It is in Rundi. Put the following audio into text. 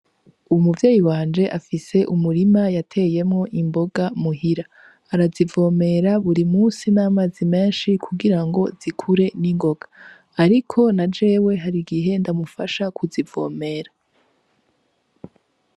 Umuvyeyi wanje afise umurima yateyemwo imboga muhira. Arazivomera buri musi n'amazi menshi kugirango zikure ningoga. Ariko na jewe hari igihe ndamufasha kuzivomera.